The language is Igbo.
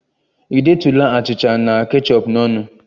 Ị detụla achịcha na kechọp n'ọnụ?